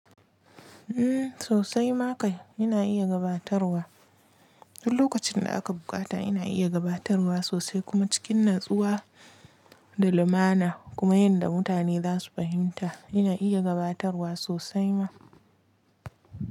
Mm sosai ma kai ina iya gabatarwa, duk lokacin da aka buƙata ina iya gabatarwa sosai kuma cikin natsuwa da lumana kuma yanda mutane zasu fahimta ina iya gabatarwa sosai ma.